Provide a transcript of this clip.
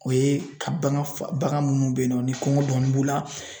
O ye ka bagan fa bagan munnu be yen nɔ ni kɔngɔ dɔɔni b'u la